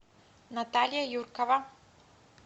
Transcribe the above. наталья юркова